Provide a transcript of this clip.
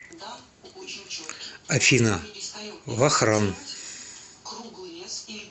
афина вахран